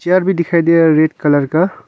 दिखाई दे रहा है रेड कलर का।